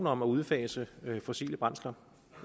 om at udfase de fossile brændstoffer